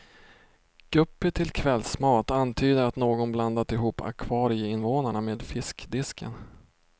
Guppy till kvällsmat antyder att någon blandat ihop akvarieinvånarna med fiskdisken.